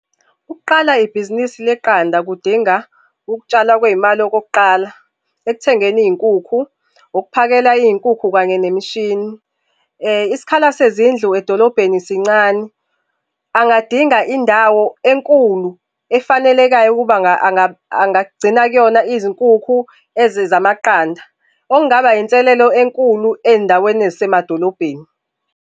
Ukuqala ibhizinisi leqanda kudinga ukutshalwa kwey'mali okokuqala, ekuthengeni iy'nkukhu, ukuphakela iy'nkukhu kanye nemishini. Isikhala sezindlu edolobheni sincane, angadinga indawo enkulu, efanelekayo ukuba angagcina kuyona izinkukhu ezizamaqanda. Okungaba inselelo enkulu ey'ndaweni ezisemadolobheni.